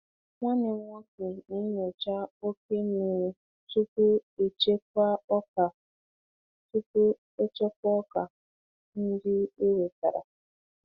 Nwanne m nwoke na-enyocha oke mmiri tupu echekwaa ọka tupu echekwaa ọka ndị e wetara.